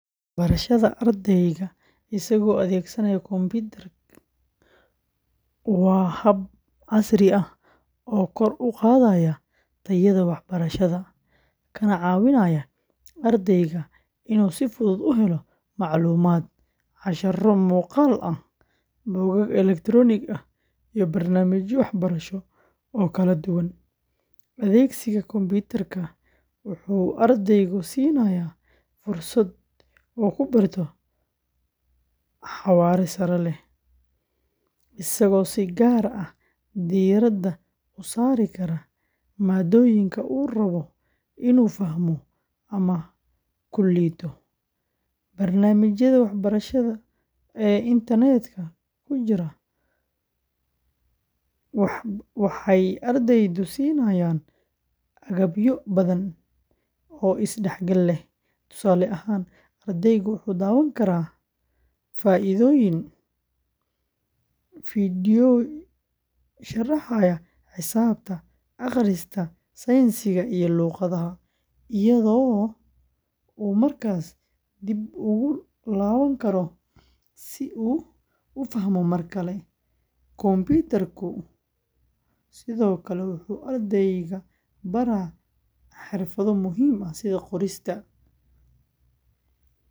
Barashada ardayga isagoo adeegsanaya kombiyuutar waa hab casri ah oo kor u qaadaya tayada waxbarashada, kana caawinaya ardayga inuu si fudud u helo macluumaad, casharro muuqaal ah, buugaag elektaroonik ah, iyo barnaamijyo waxbarasho oo kala duwan. Adeegsiga kombiyuutarka wuxuu ardayga siinayaa fursad uu ku barto xawaare sare leh, isagoo si gaar ah diiradda u saari kara maadooyinka uu rabo inuu fahmo ama ku liito. Barnaamijyada waxbarasho ee internet-ka ku jira waxbarasho waxay ardayda siiyaan agabyo badan oo is-dhexgal leh. Tusaale ahaan, ardaygu wuxuu daawan karaa fiidyowyo sharaxaya xisaabta, akhriska, sayniska, iyo luqadaha, iyadoo uu markasta dib ugu laaban karo si uu u fahmo mar kale. Kombiyuutarka sidoo kale wuxuu ardayga baraa xirfado muhiim ah sida qorista.